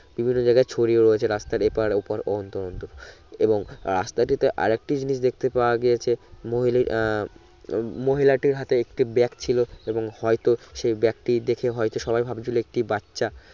বিভিন্ন জায়গায় ছড়িয়ে রয়েছে রাস্তার এ পার অপার অন্তর অন্তর এবং রাস্তাটিতে আরেকটি জিনিস দেখতে পাওয়া গিয়েছে মহিলি আহ মহিলাটির হাতে একটি ব্যাগ ছিলো এবং হয় তো সেই ব্যাগটি দেখে হইছে সবাই ভাবছিলো একটি বাচ্চা